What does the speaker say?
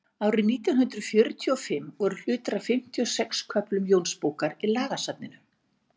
árið nítján hundrað fjörutíu og fimm voru hlutar af fimmtíu og sex köflum jónsbókar í lagasafninu